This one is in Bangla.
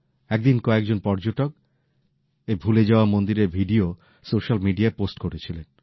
একদিন কয়েকজন পর্যটক এই ভুলে যাওয়া মন্দিরের ভিডিও সোস্যাল মিডিয়ায় পোস্ট করেছিলেন